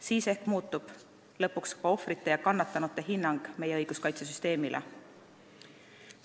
Siis ehk muutub lõpuks ohvrite ja kannatanute hinnang meie õiguskaitsesüsteemile.